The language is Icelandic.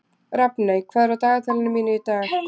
Rafney, hvað er á dagatalinu mínu í dag?